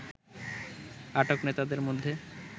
আটক নেতাদের মধ্যে